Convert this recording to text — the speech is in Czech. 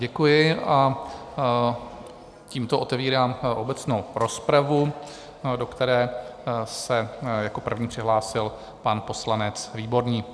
Děkuji a tímto otevírám obecnou rozpravu, do které se jako první přihlásil pan poslanec Výborný.